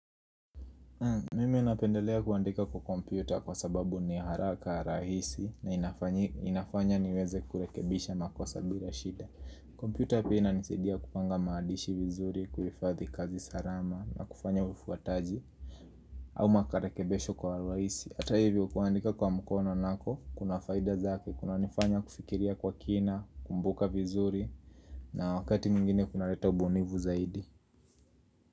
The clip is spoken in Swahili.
Mimi napendelea kuandika kwa kompyuta kwa sababu ni haraka, rahisi na inafanya niweze kurekebisha makosa bila shida kompyuta pia inanisaidia kupanga maandishi vizuri, kuhifadhi kazi sarama na kufanya ufuataji au marekebisho kwa urahisi, ata hivyo kuandika kwa mkono nako kuna faida zake, kunanifanya kufikiria kwa kina, kumbuka vizuri na wakati mwingine kunareta ubunivu zaidi.